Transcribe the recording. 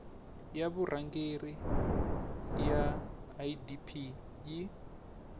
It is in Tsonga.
ya vurhangeri ya idp yi